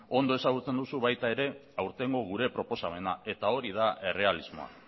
ondo ezagutzen duzu baita ere aurtengo gure proposamena eta hori da errealismoa